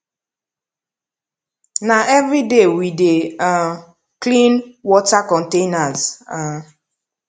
na everyday we dey um clean water containers um